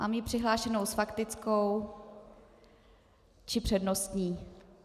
Mám ji přihlášenou s faktickou či přednostní.